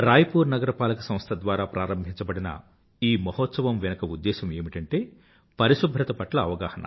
రాయపూర్ నగర పాలక సంస్థ ద్వారా ప్రారంభించబడిన ఈ మహోత్సవం వెనుక ఉద్దేశ్యం ఏమిటంటే పరిశుభ్రత పట్ల అవగాహన